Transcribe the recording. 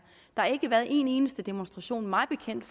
har ikke været en eneste demonstration mig bekendt